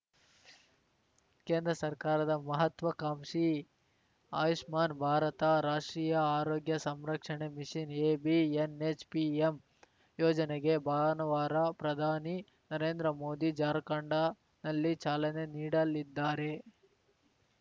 ಕೇಂದ್ರ ಸರ್ಕಾರದ ಮಹತ್ವಾಕಾಂಕ್ಷಿ ಆಯುಷ್ಮಾನ್‌ ಭಾರತರಾಷ್ಟ್ರೀಯ ಆರೋಗ್ಯ ಸಂರಕ್ಷಣೆ ಮಿಶನ್‌ಎಬಿಎನ್‌ಹೆಚ್‌ಪಿಎಂ ಯೋಜನೆಗೆ ಭಾನುವಾರ ಪ್ರಧಾನಿ ನರೇಂದ್ರ ಮೋದಿ ಜಾರ್ಖಂಡನಲ್ಲಿ ಚಾಲನೆ ನೀಡಲಿದ್ದಾರೆ